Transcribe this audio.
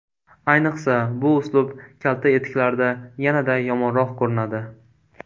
Ayniqsa, bu uslub kalta etiklarda yanada yomonroq ko‘rinadi.